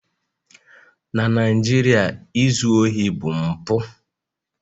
Na Naijiria, izu ohi bụ mpụ